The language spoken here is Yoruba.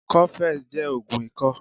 Coffex jẹ́ ògùn ikọ́